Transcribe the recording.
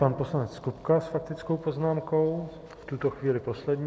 Pan poslanec Kupka s faktickou poznámkou, v tuto chvíli poslední.